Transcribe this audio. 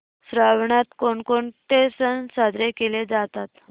श्रावणात कोणकोणते सण साजरे केले जातात